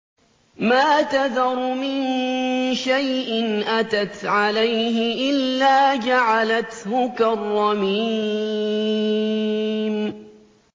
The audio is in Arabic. مَا تَذَرُ مِن شَيْءٍ أَتَتْ عَلَيْهِ إِلَّا جَعَلَتْهُ كَالرَّمِيمِ